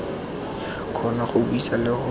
kgona go buisa le go